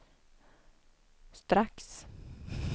strax